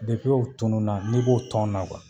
u tununa n'i b'o tɔn na